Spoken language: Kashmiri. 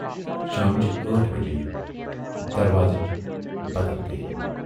شامچہِ ٲٹھ بجے یہِ، دروازٕچ بَدل گٔیہِ۔